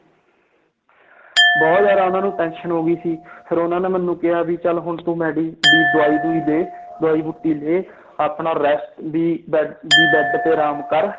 ਬਹੁਤ ਜ਼ਿਆਦਾ ਉਹਨਾਂ ਨੂੰ tension ਹੋ ਗਈ ਸੀ ਫਿਰ ਉਹਨਾਂ ਨੇ ਮੈਨੂੰ ਕਿਹਾ ਵੀ ਚੱਲ ਹੁਣ ਤੂੰ ਮੈਡੀ~ ਵੀ ਦਵਾਈ ਦਵੂਈ ਦੇ ਦਵਾਈ ਬੂਟੀ ਲੈ ਆਪਣਾ rest ਵੀ ਬੈ~ ਵੀ ਬੈਡ ਤੇ ਆਰਾਮ ਕਰ